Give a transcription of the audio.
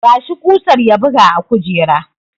Ba shi kusar ya buga a kujera!